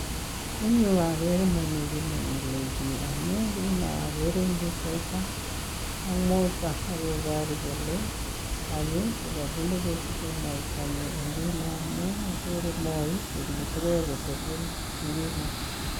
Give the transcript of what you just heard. ing yu ageree momii ki ne mile biik amuu agere teta akoboru kolee tanyi ko ka bunu ko siche moita nii ngunoo amuu moi ko netigei ko telel ngunoo